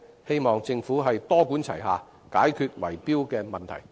希望政府多管齊下，解決圍標問題。